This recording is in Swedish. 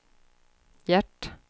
Gert